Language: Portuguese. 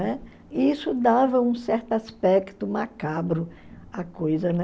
E isso dava um certo aspecto macabro à coisa, né?